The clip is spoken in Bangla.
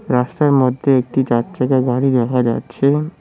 রাস্তার মধ্যে একটি চারচাকা গাড়ি দেখা যাচ্ছে।